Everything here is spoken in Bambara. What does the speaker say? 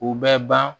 U bɛ ban